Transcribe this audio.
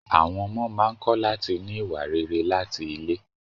Àwọn ọmọ máa ń kọ́ láti ní ìwà rere láti ilé.